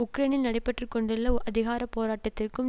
உக்ரேனில் நடைபெற்றுக்கொண்டுள்ள அதிகார போராட்டத்திற்கும்